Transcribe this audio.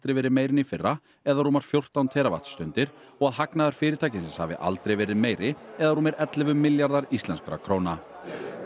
verið meiri en í fyrra eða rúmar fjórtán og að hagnaður fyrirtækisins hafi aldrei verið meiri eða rúmir ellefu milljarðar íslenskra króna